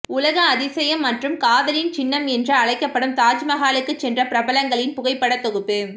உலக அதிசயம் மற்றும் காதலின் சின்னம் என்று அழைக்கப்படும் தாஜ் மஹாலுக்கு சென்ற பிரபலங்களின் புகைப்படத் தொகுப்பு